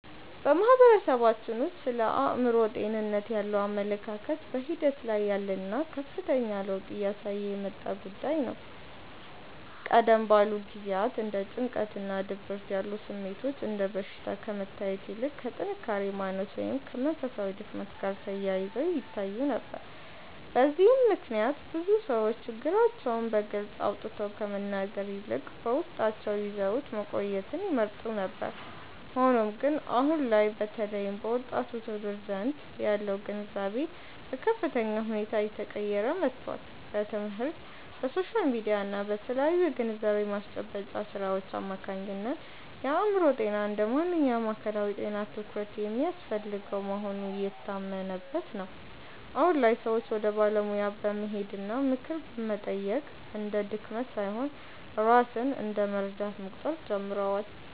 በማህበረሰባችን ውስጥ ስለ አእምሮ ጤንነት ያለው አመለካከት በሂደት ላይ ያለና ከፍተኛ ለውጥ እያሳየ የመጣ ጉዳይ ነው። ቀደም ባሉ ጊዜያት እንደ ጭንቀትና ድብርት ያሉ ስሜቶች እንደ በሽታ ከመታየት ይልቅ ከጥንካሬ ማነስ ወይም ከመንፈሳዊ ድክመት ጋር ተያይዘው ይታዩ ነበር። በዚህም ምክንያት ብዙ ሰዎች ችግራቸውን በግልጽ አውጥተው ከመናገር ይልቅ በውስጣቸው ይዘውት መቆየትን ይመርጡ ነበር። ሆኖም ግን፣ አሁን ላይ በተለይም በወጣቱ ትውልድ ዘንድ ያለው ግንዛቤ በከፍተኛ ሁኔታ እየተቀየረ መጥቷል። በትምህርት፣ በሶሻል ሚዲያ እና በተለያዩ የግንዛቤ ማስጨበጫ ሥራዎች አማካኝነት የአእምሮ ጤና እንደ ማንኛውም አካላዊ ጤና ትኩረት የሚያስፈልገው መሆኑ እየታመነበት ነው። አሁን ላይ ሰዎች ወደ ባለሙያ መሄድና ምክር መጠየቅ እንደ ድክመት ሳይሆን ራስን እንደ መርዳት መቁጠር ጀምረዋል።